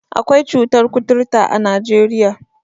Akwai cutar kuturta a Najeriya.